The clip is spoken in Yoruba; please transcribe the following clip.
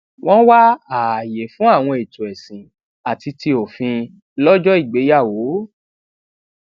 wón wá ààyè fún àwọn ètò èsìn àti ti òfin lójó ìgbéyàwó